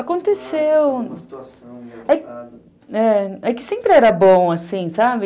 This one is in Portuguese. Aconteceu... É que sempre era bom, assim, sabe?